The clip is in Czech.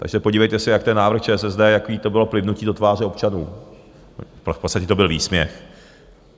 Takže podívejte se, jak ten návrh ČSSD, jaké to bylo plivnutí do tváře občanů, v podstatě to byl výsměch.